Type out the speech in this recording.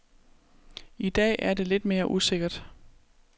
I dag er det lidt mere usikkert.